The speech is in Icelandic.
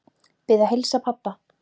Bið að heilsa pabba.